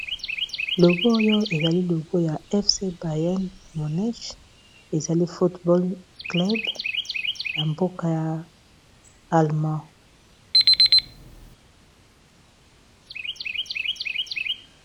logo oyo ezali logo ya fc byn ,ezali football club ya mboka ya allemagne.